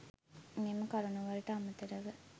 මෙම කරුණු වලට අමතරව